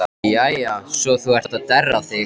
Jæja svo þú ert að derra þig.